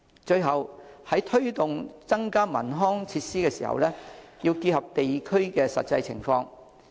最後，在推動增加地區文康設施時，要結合地區的實際情況。